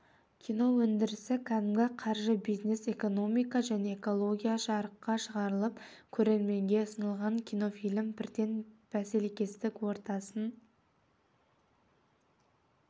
кино өндірісі кәдімгі қаржы бизнес экомика және идеология жарыққа шығарылып көрерменге ұсынылған кинофильм бірден бәсекелестік ортасын